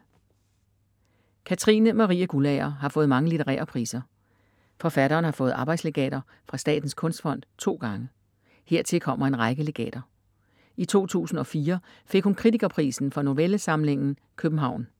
Katrine Marie Guldager har fået mange litterære priser. Forfatteren har fået arbejdslegater fra Statens Kunstfond to gange. Hertil kommer en række legater. I 2004 fik hun Kritikerprisen for novellesamlingen København.